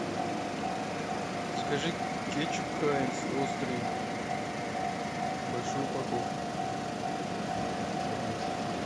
закажи кетчуп хайнц острый большую упаковку одну